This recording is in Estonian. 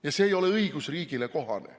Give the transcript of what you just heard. Ja see ei ole õigusriigile kohane.